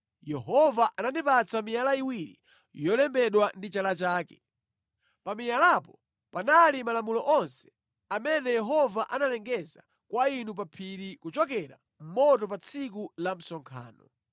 Yehova anandipatsa miyala iwiri yolembedwa ndi chala chake. Pa miyalapo panali malamulo onse amene Yehova analengeza kwa inu pa phiri kuchokera mʼmoto pa tsiku la msonkhano.